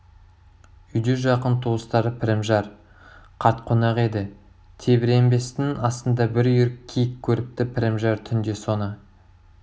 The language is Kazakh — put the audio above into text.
үйде жақын туыстары пірімжар қарт қонақ еді тебіренбестің астында бір үйір киік көріпті пірімжар түнде соны